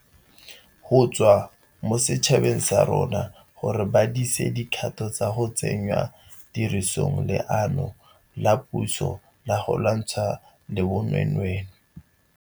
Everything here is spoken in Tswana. Go tswa mo setšhabeng sa rona gore ba dise dikgato tsa go tsenya tirisong leano la puso la go lwantshana le bonweenwee.